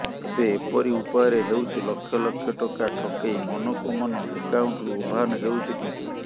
ଏବେ ଏପରି ଉପାୟରେ ହେଉଛି ଲକ୍ଷଲକ୍ଷ ଟଙ୍କା ଠକେଇ ମନକୁ ମନ ଆକାଉଣ୍ଟରୁ ଉଭାନ ହେଉଛି ଟଙ୍କା